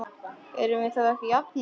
Erum við þá ekki jafnir?